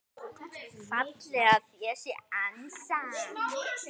fallega þeir sér ansa.